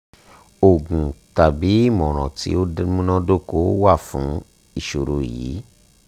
oògùn tabi imọran ti o munadoko wa fun iṣoro yii